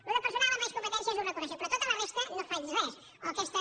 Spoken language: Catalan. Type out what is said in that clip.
allò del personal envaeix competències ho reconec però tota la resta no faig res o aquesta